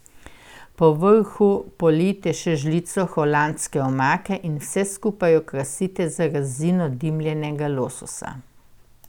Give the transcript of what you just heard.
Po vrhu polijte še žlico holandske omake in vse skupaj okrasite z rezino dimljenega lososa.